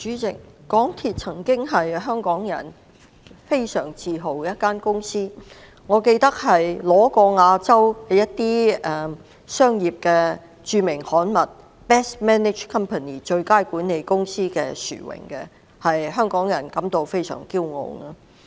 主席，香港鐵路有限公司曾經是一間令香港人非常自豪的公司，我記得它曾奪得亞洲著名商業刊物的最佳管理公司的殊榮，令香港人甚感驕傲。